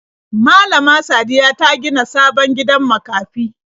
Malama Sadiya ta gina sabon gidan makafi.